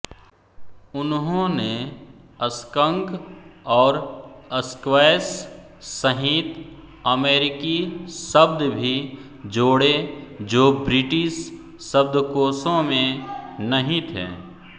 उन्होंने स्कंक और स्क्वैश सहित अमेरिकी शब्द भी जोड़े जो ब्रिटिश शब्दकोशों में नहीं थे